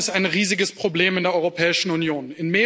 Korruption ist ein riesiges Problem in der Europäischen Union.